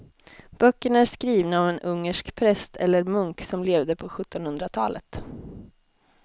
Böckerna är skrivna av en ungersk präst eller munk som levde på sjuttonhundratalet.